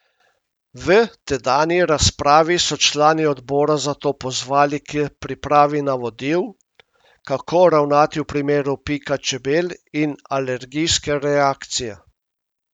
V tedanji razpravi so člani odbora zato pozvali k pripravi navodil, kako ravnati v primeru pika čebel in alergijske reakcije.